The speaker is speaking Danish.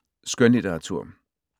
Skønlitteratur